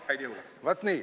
Vaat nii!